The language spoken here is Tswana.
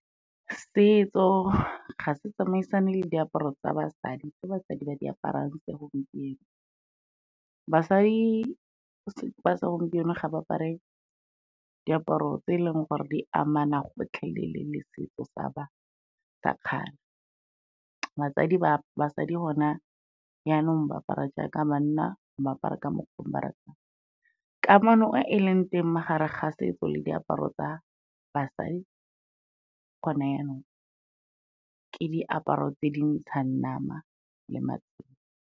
Setso ga se tsamaisane le diaparo tsa basadi, tse basadi ba di aparang segompieno. Basadi ba segompieno ga ba apare diaparo tse e leng gore di amana gotlhelele le setso sa kgale, basadi gona jaanong, ba apara jaaka banna, ba apara ka mokgwa o ba ratang. Kamano e leng teng magareng ga setso le diaparo tsa basadi gone jaanong, ke diaparo tse dintshang nama le .